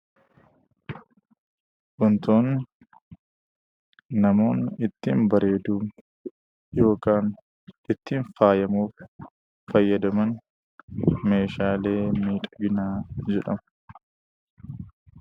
Wantoonni namoonni ittiin bareeduun yookaan ittiin faayamuun fayyadaman meeshaalee miidhaginaa jedhamu.